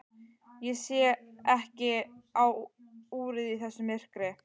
Ég sé ekki á úrið í þessu myrkri.